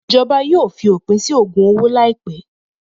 Ìjọba yóò fi òpin sí ògùn owó láìpẹ́.